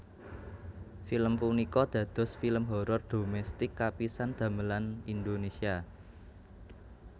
Film punika dados film horor dhomestik kapisan damelan Indonesia